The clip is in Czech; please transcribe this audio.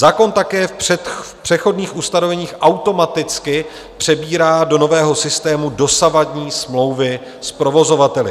Zákon také v přechodných ustanoveních automaticky přebírá do nového systému dosavadní smlouvy s provozovateli.